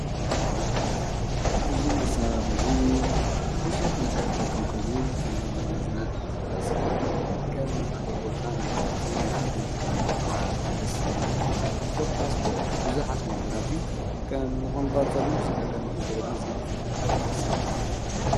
እዝ መሣርሕ እዙ ብዙኅ ነገር ጠቀም ኮይኑ ከም መዝናነየመናእሰይን ከም ንሓደቦታብ ንወረሲ ንኣምነት ከም ነርዓ ክርስና ኰታስ ብዙኃት ነገራትን ከም ኾንቋርሰሎም ብዙኅ ነገር ንክንዶረልን ዘሕግዘኒ ዓብዪ መሣርሒ እዩ።